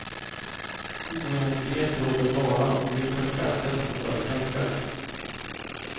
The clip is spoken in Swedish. Oenighet råder bara om vilka skatter som bör sänkas.